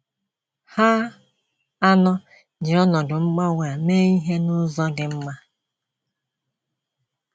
Ha anọ ji ọnọdụ mgbanwe a mee ihe n’ụzọ dị mma.